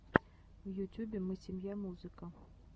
в ютюбе мы семья музыка